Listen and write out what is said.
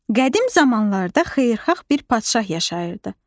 Qədim zamanlarda xeyirxah bir padşah yaşayırdı.